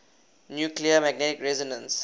nuclear magnetic resonance